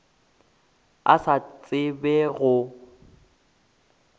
a sa tsebe gore go